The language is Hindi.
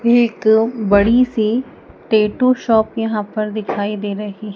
एक बड़ी सी टैटू शॉप यहां पर दिखाई दे रही--